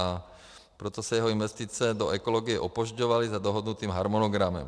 A proto se jeho investice do ekologie opožďovaly za dohodnutým harmonogramem.